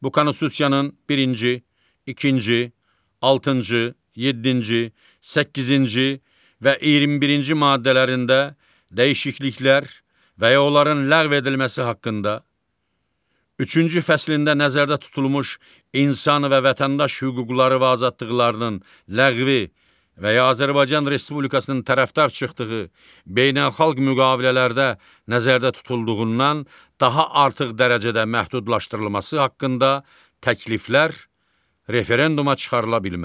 Bu Konstitusiyanın birinci, ikinci, altıncı, yeddinci, səkkizinci və 21-ci maddələrində dəyişikliklər və ya onların ləğv edilməsi haqqında, üçüncü fəslində nəzərdə tutulmuş insan və vətəndaş hüquqları və azadlıqlarının ləğvi və ya Azərbaycan Respublikasının tərəfdar çıxdığı beynəlxalq müqavilələrdə nəzərdə tutulduğundan daha artıq dərəcədə məhdudlaşdırılması haqqında təkliflər referenduma çıxarıla bilməz.